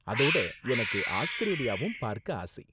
அதோட, எனக்கு ஆஸ்திரேலியாவும் பார்க்க ஆசை.